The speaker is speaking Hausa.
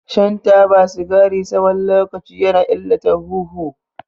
Shan taba sigari tsawon lokaci ya na illata huhu.